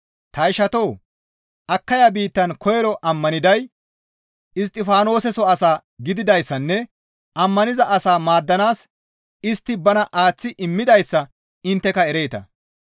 Ta ishatoo! Akaya biittan koyro ammaniday Isttifaanoseso asaa gididayssanne ammaniza asaa maaddanaas istti bana aaththi immidayssa intteka ereeta.